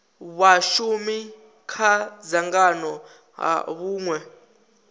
vhashumi kha dzangano ha hunwe